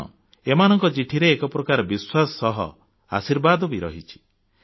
କାରଣ ଏମାନଙ୍କ ଚିଠିରେ ଏକପ୍ରକାର ବିଶ୍ୱାସ ସହ ଆଶୀର୍ବାଦ ବି ରହିଛି